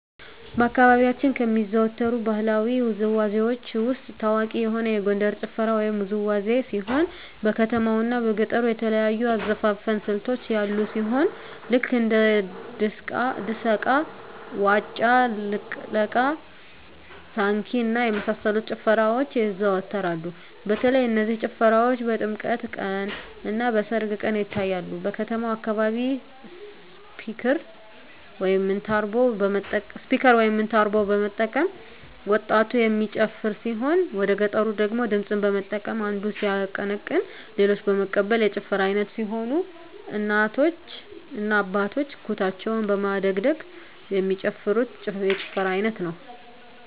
በአካባቢያችን ከሚዘወተሩ ባህለዊ ውዝዋዜዎች ውስጥ ታዋቂ የሆነ የጎንደር ጭፈራ ወይም ውዝዋዜ ሲሆን በከተማው እና በገጠሩ የተለያዩ የአዘፋፈን ስልቶች ያሉ ሲሆን ልክ እንደ ድሰቃ; ዋጫ ልቅለቃ; ሳንኪ እና የመሳሰሉት ጭፈራዎች ይዘዎተራሉ በተለይ እነዚህ ጭፈራዎች በጥምቀት ቀን; እና በሰርግ ቀን ይታያሉ። በከተማው አካባቢ ስፒከር (ሞንታርቦ) በመጠቀም ወጣቱ የሚጨፍር ሲሆን ወደገጠሩ ደግሞ ድምፅን በመጠቀም አንዱ ሲያቀነቅን ሌሎች በመቀበል የጭፈራ አይነት ሲሆን እናቶ እና አባቶች ኩታቸውን በማደግደግ የሚጨፍሩት የጭፈራ አይነት ነው።